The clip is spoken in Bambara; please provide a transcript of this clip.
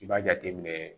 I b'a jateminɛ